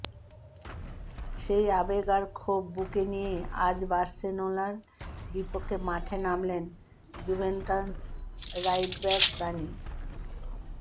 সেই আবেগ আর ক্ষোভ বুকে নিয়েই আজ বার্সেলোনার বিপক্ষে মাঠে নামবেন জুভেন্টাস রাইটব্যাক দানি